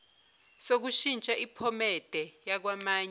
sokushintsha iphomede yakwamanye